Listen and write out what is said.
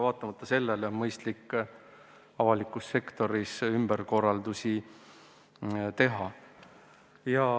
Vaatamata sellele on mõistlik avalikus sektoris ümberkorraldusi teha.